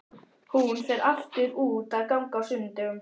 Hún fer alltaf út að ganga á sunnudögum.